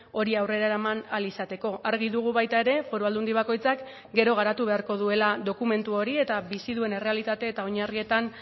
hori aurrera eraman ahal izateko argi dugu baita ere foru aldundi bakoitzak gero garatu beharko duela dokumentu hori eta bizi duen errealitate eta oinarrietan